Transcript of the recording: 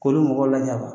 K'olu mɔgɔ lajaba